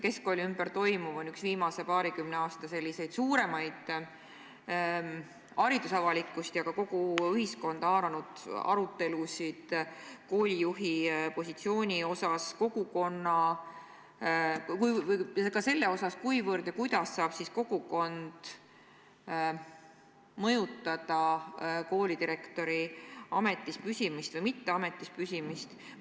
Keskkooli ümber toimuv on üks viimase paarikümne aasta suuremaid haridusavalikkust, aga ka kogu ühiskonda haaranud arutelusid koolijuhi positsiooni üle, ka selle üle, kuivõrd ja kuidas saab kogukond mõjutada koolidirektori ametis püsimist või mittepüsimist.